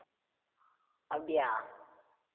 அப்டியா